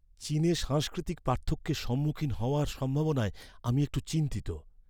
চীনে সাংস্কৃতিক পার্থক্যের সম্মুখীন হওয়ার সম্ভাবনায় আমি একটু চিন্তিত।